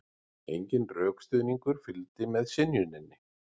Enginn rökstuðningur fylgdi með synjuninni